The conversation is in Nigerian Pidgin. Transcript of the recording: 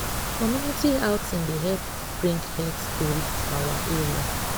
community outing dey help bring health tori to our area.